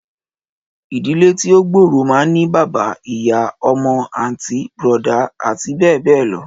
Ìdílé tí o gbóórò mán ní bàbá, ìyá, ọmọ, àntí, brọ̀dá àti bẹẹ bẹẹ lọ.